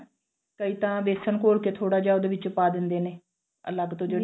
ਕਈ ਤਾਂ ਵੇਸਨ ਘੋਲ ਕੇ ਥੋੜਾ ਜਿਹਾ ਉਹਦੇ ਵਿੱਚ ਪਾ ਦਿੰਦੇ ਨੇ ਅਲਗ ਤੋਂ ਜਿਹੜੀ